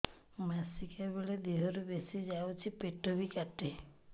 ମାସିକା ବେଳେ ଦିହରୁ ବେଶି ଯାଉଛି ପେଟ ବି କାଟେ